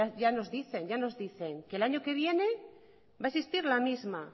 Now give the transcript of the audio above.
ya nos dice ya nos dicen que el año que viene va a existir la misma